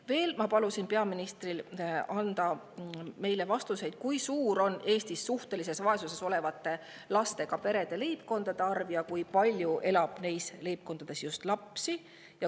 Veel palusin peaministril anda meile vastused, kui suur on Eestis suhtelises vaesuses olevate lastega perede, leibkondade arv ja kui palju elab neis leibkondades lapsi.